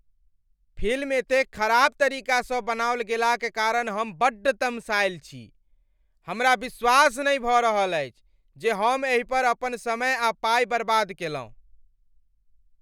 Film एतेक खराब तरीकासँ बनाओल गेलाक कारण हम बड्ड तमसाएल छी। हमरा विश्वास नहि भऽ रहल अछि जे हम एहि पर अपन समय आ पाइ बर्बाद केलहुँ।